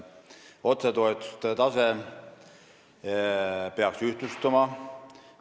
Otsetoetuste tase peaks ühtlustuma.